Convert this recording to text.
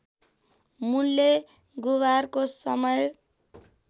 मूल्य गुबारको समय